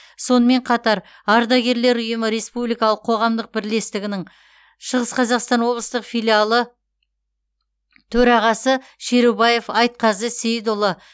сонымен қатар ардагерлер ұйымы республикалық қоғамдық бірлестігінің шығыс қазақстан облыстиық филиалы төрағасы шерубаев айтқазы сеидұлы